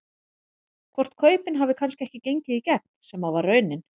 Hvort kaupin hafi kannski ekki gengið í gegn sem að var raunin?